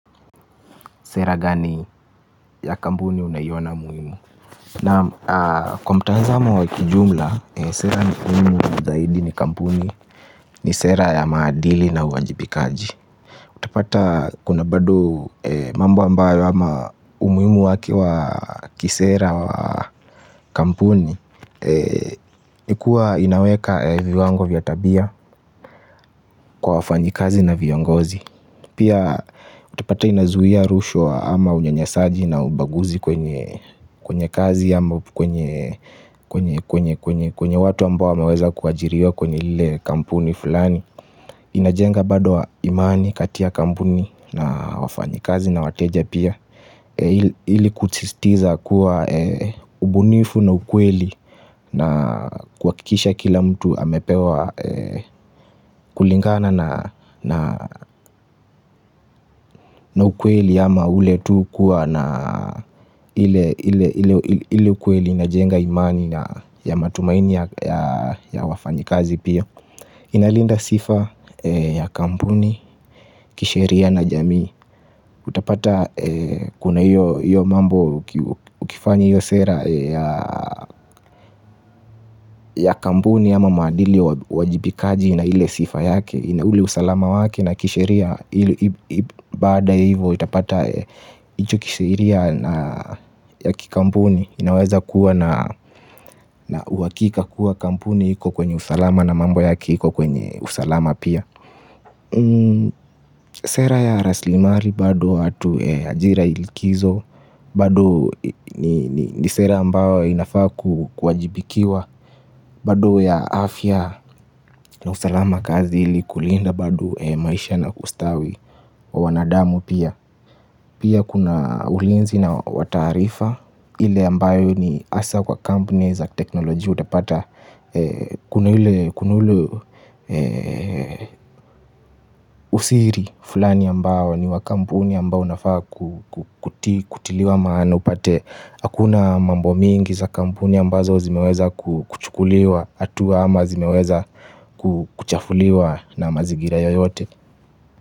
Sera gani ya kampuni unayiona muhimu. Naam kwa mtazamo wa kijumla sera ni muimu zaidi ni kampuni. Ni sera ya maadili na uwajibikaji. Utapata kuna bado mambo ambayo ama umuimu waki wa kisera wa kampuni. Nikuwa inaweka viwango vya tabia. Kwa wafanyikazi na viongozi. Pia utapata inazuia rushwa ama unyanyasaji na ubaguzi. Kwenye kazi yambo Kwenye watu ambao wameweza kuajiriwa kwenye lile kampuni fulani inajenga bado imani katia kampuni na wafanyikazi na wateja pia. Hili kutsistiza kuwa ubunifu na ukweli na kuakisha kila mtu amepewa kulingana na ukweli. Yama ule tu kuwa na ili ukueli najenga imani ya matumaini ya wafanyikazi pia. Inalinda sifa ya kampuni, kisheria na jamii. Utapata kuna hiyo mambo ukifanyi hiyo sera ya kampuni ama madili uwajibikaji na hile sifa yake. Inauli usalama wake na kisheria ilu bada hivo itapata icho kisheria na yaki kampuni inaweza kuwa na uwakika kuwa kampuni hiko kwenye usalama na mambo yaki hiko kwenye usalama pia sera ya raslimari bado atu ajira ilikizo bado ni sera ambao inafakujibikiwa bado ya afya na usalama kazi hili kulinda bado maisha na ustawi wa wanadamu pia. Pia kuna ulinzi na watarifa. Ile ambayo ni asa kwa kampuni za teknoloji Utapata kuna ile usiri fulani ambayo ni wakampuni ambayo nafaa kutiliwa maana upate. Hakuna mambo mingi za kampuni ambazo zimeweza kuchukuliwa Atua ama zimeweza kuchafuliwa na mazigira yoyote.